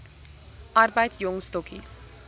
arbeid jong stokkies